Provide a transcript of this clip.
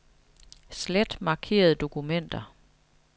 Slet markerede dokumenter.